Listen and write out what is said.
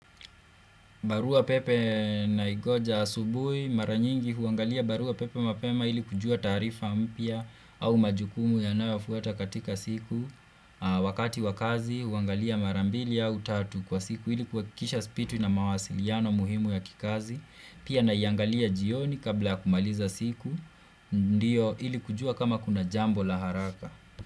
Barua pepe naingoja asubuhi maranyingi huangalia barua pepe mapema ili kujua taarifa mpya au majukumu yanayofuata katika siku. Wakati wakazi huangalia marambili au tatu kwa siku ili kuhakikisha sipitwi na mawasiliano muhimu ya kikazi. Pia na iangalia jioni kabla ya kumaliza siku ili kujua kama kuna jambo la haraka.